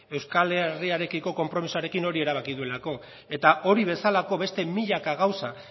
euskal herriarekiko konpromisoarekin hori erabaki duelako eta hori bezalako beste milaka gauza